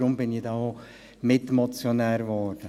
Deshalb wurde ich denn auch Mitmotionär.